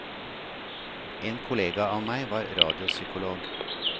En kollega av meg var radiopsykolog.